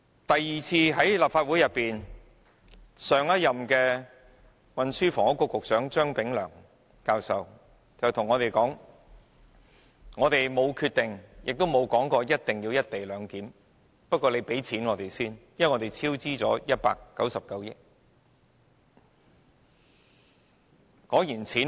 其後來到立法會的是前任運輸及房屋局局長張炳良教授，他對我們表示未有決定，亦沒有說過一定要實行"一地兩檢"，但立法會要先批出撥款，因為已超支199億元。